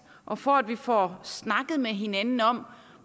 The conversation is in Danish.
og for at vi får snakket med hinanden om